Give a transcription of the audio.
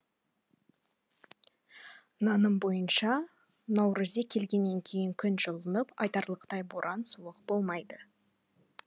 наным бойынша наурызек келгеннен кейін күн жылынып айтарлықтай боран суық болмайды